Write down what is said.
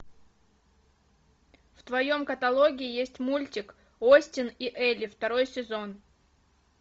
в твоем каталоге есть мультик остин и элли второй сезон